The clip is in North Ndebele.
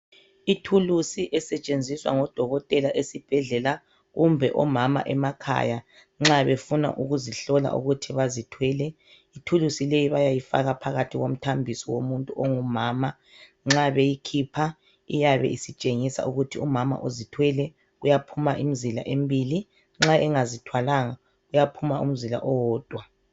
Ithulusi esetshenziswa ngodokotela esibhedlela kumbe omama emakhaya nxa befuna ukuzihlola ukuthi bazithwele, ithulusi le bayayifaka phakathi komthambiso womuntu ongumama nxa beyikhipha iyabe isitshengisa ukuthi umama uzithwele iyabe itshengisa imzila emibili nxa engazithwalanga kuyaphuma umzila owodwa.